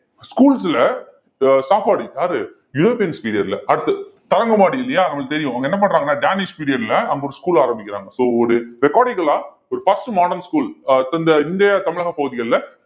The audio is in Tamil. schools ல அஹ் சாப்பாடு யாரு யுரோப்பியன்ஸ் period ல அடுத்து தரங்கம்பாடி இல்லையா நமக்கு தெரியும் அங்க என்ன பண்றாங்கன்னா Danish period ல அங்க ஒரு school ஆரம்பிக்கிறாங்க so ஒரு recordical ஆ ஒரு first modern school அஹ் இந்தியா தமிழக பகுதிகள்ல